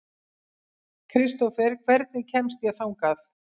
Kristófer, hvernig kemst ég þangað?